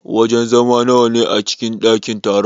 Wajen zama nawa ne a cikin dakin taron?